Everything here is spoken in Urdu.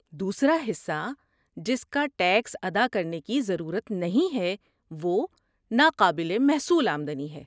دوسرا حصہ جس کا ٹیکس ادا کرنے کی ضرورت نہیں ہے وہ ناقابل محصول آمدنی ہے۔